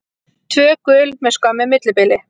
Tvö gul með skömmu millibili.